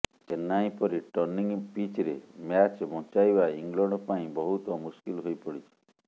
ଚେନ୍ନାଇ ପରି ଟର୍ଣ୍ଣିଂ ପିଚ୍ରେ ମ୍ୟାଚ୍ ବଞ୍ଚାଇବା ଇଂଲଣ୍ଡ ପାଇଁ ବହୁତ ମୁସ୍କିଲ ହୋଇ ପଡିଛି